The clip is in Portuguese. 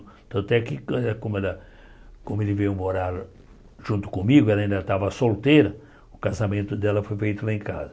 Tanto é que até que como ela como ele veio morar junto comigo, ela ainda estava solteira, o casamento dela foi feito lá em casa.